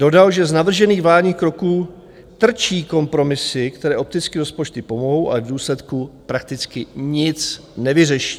Dodal, že z navržených vládních kroků trčí kompromisy, které opticky rozpočtu pomohou, ale v důsledku prakticky nic nevyřeší.